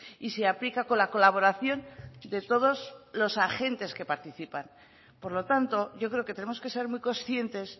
y se aplica con la colaboración de todos los agentes que participan por lo tanto yo creo que tenemos que ser muy conscientes